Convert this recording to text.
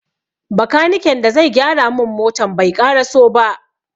Bakaniken da zai gyara mun motan bai ƙaraso ba.